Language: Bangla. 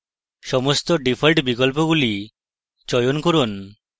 সমস্ত ডিফল্ট বিকল্পগুলি চয়ন করুন